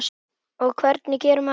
Og hvernig gerir maður það?